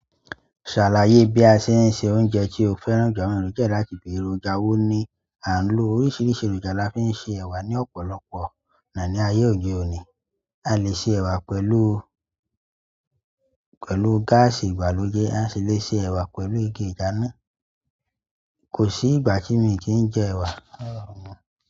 Ṣàlàyé bí a ṣe ń se oúnjẹ tí o fẹ́ràn. Àwọn èròjà láti bèrè. Èròjà owó ni à ń lo. Oríṣiríṣi èròjà la fi ń se ẹ̀wà ní ọ̀pọ̀lọpọ̀ ní ayé òde òní. A lè se ẹ̀wà pẹ̀lú, pẹ̀lú gáàsì ìgbàlódé, a sì lè se ẹ̀wà pẹ̀lú igi ìdáná. Kò sí ìgbà tí mi kì í jẹ ẹ̀wà.